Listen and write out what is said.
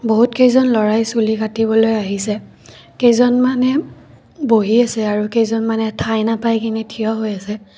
বহুতকেইজন ল'ৰাই চুলি কাটিবলৈ আহিছে কেইজনমানে বহি আছে আৰু কেইজনমানে ঠাই নাপাই কিনে থিয় হৈ আছে।